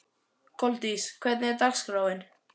Koldís, hvernig er dagskráin?